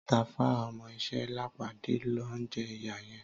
Tàfá ọmọ iṣẹ́ Lápàdé ló ń jẹ ìyà yẹn.